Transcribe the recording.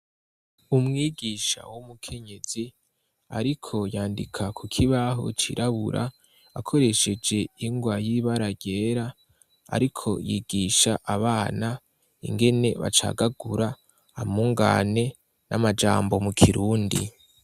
Umwigisha w'umukenyezi ariko yandika kukibaho cirabura akoresheje ingwa y'ibara ryera. Ariko yigisha abana ingene bacagagura amungane n'amajambo mukirundi.